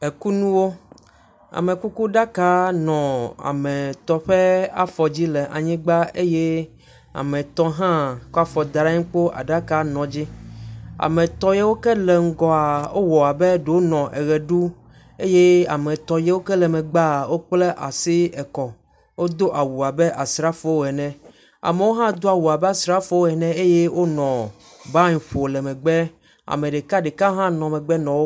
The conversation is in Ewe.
Ekunuwo; amekukuɖaka nɔ ame etɔ̃ ƒe afɔ dzi le anyigba eye ame etɔ̃ hã kɔ afɔ da ɖe anyi kpo aɖaka nɔ edzi. Ame etɔ̃ yo ke le ŋgɔ wowɔ abe ɖe wonɔ ʋe ɖu eye ame etɔ̃ yok e le megbea wokpla asi ekɔ wodo awu abe asrafo ene. Amewo hã do awu abe asrafowo ene eye wonɔ ban ƒo le megbe. Ame ɖekaɖeka hã nɔ megbe nɔ wo…